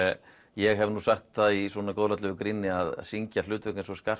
ég hef nú sagt í góðlátlegu gríni að syngja hlutverk eins og